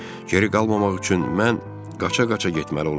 Geri qalmamaq üçün mən qaça-qaça getməli olurdum.